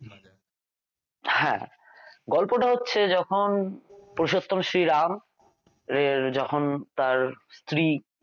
হ্যাঁ গল্পটা হচ্ছে যখন পুরুষোত্তম শ্রীরাম এর যখন তাঁর স্ত্রী